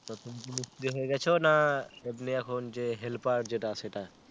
তো তুমি কি মিস্ত্রি হয়ে গেছো না এমনি এখন যে helper যেটা সেটা?